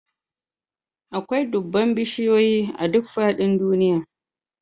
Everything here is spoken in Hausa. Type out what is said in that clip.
Akwai dubban bishiyoyi a duk faɗin duniya